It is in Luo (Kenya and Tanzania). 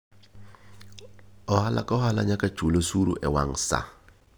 Ohala ka ohala nyaka chul osuru e wang' sa.